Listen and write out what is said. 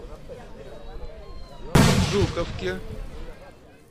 жуковке